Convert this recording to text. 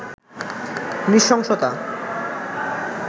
নৃশংসতা